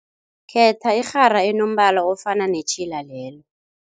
Khetha irhara enombala ofana netjhila lelo.